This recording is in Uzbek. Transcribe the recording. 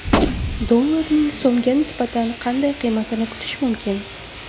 Dollarning so‘mga nisbatan qanday qiymatini kutish mumkin?